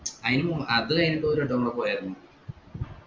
ആയിനും മുൻ അത് കൈഞ്ഞിട് ഒരു വട്ടം കൂടി പോയാരുന്നു